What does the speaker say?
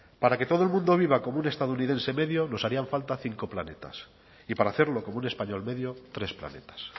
para que todo el mundo viva como un estadounidense medio nos harían falta cinco planetas y para hacerlo como un español medio tres planetas